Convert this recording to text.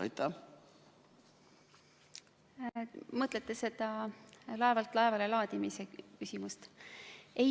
Te mõtlete seda laevalt laevale laadimise küsimust?